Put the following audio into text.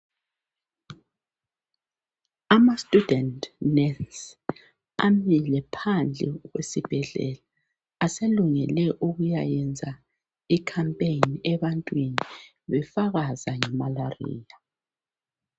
Ama student nurse amile phandle kwesibhedlela aselungele ukuyakwenza umkhankaso ebantwini befakaza ngemalariya.